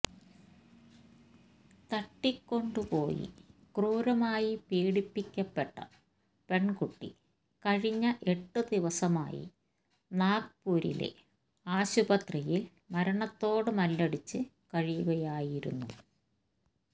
തട്ടിക്കൊണ്ടുപോയി ക്രൂരമായി പീഡിപ്പിക്കപ്പെട്ട പെണ്കുട്ടി കഴിഞ്ഞ എട്ട് ദിവസമായി നാഗ്പൂരിലെ ആശുപത്രിയില് മരണത്തോട് മല്ലടിച്ച് കഴിയുകയായിരുന്നു